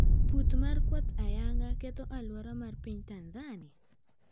Pur mar kwath ayanga ketho aluora mar piny Tanzania?